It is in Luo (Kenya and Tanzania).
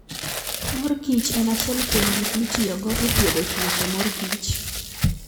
Mor kich en achiel kuom gik mitiyogo e thiedho tuoche mor kich.